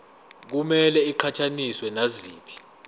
kumele iqhathaniswe naziphi